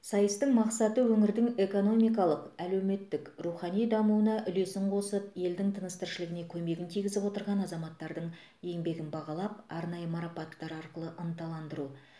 сайыстың мақсаты өңірдің экономикалық әлеуметтік рухани дамуына үлесін қосып елдің тыныс тіршілігіне көмегін тигізіп отырған азаматтардың еңбегін бағалап арнайы марапаттар арқылы ынталандыру